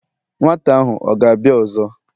Nwata ahu ọ̀ gābia ọzọ?